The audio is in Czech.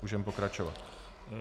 Můžeme pokračovat.